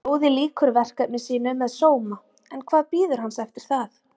Fróði lýkur verkefni sínu með sóma en hvað bíður hans eftir það?